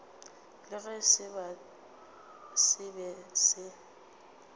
le ge se be se